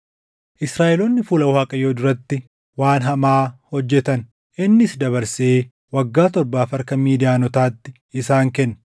Israaʼeloonni fuula Waaqayyoo duratti waan hamaa hojjetan; innis dabarsee waggaa torbaaf harka Midiyaanotaatti isaan kenne.